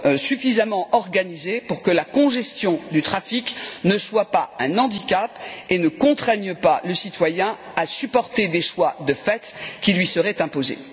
suffisamment organisé pour que la congestion du trafic ne soit pas un handicap et ne contraigne pas le citoyen à supporter des choix de fait qui lui seraient imposés.